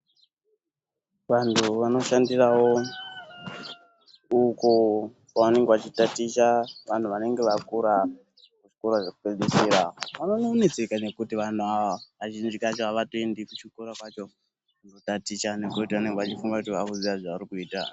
Vantu vanoshandirawo uko kwavanenge vachitaticha vantu vanenge vakura kuzvikora zvekupedzisira vanonetseka vantu ava ngekuti kazhinji kacho havatoende kuchikora kwacho kunotaticha ngekuti vanenge vachifunga kuti havasi kuziva zvavarikuita.